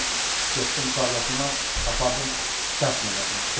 Ordan götürdüm, qardaşımı apardım dəfn elədim.